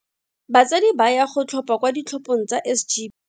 Batsadi ba ya go tlhopha kwa ditlhophong tsa SG.